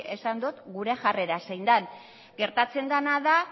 esan dot gure jarrera zein den gertatzen dena da